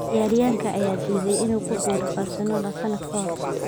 Ciyaaryahanka ayaa diiday inuu ku biiro Barcelona sanad ka hor.